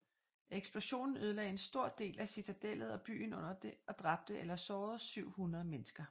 Eksplosionen ødelagde en stor del af citadellet og byen under det og dræbte eller sårede 700 mennesker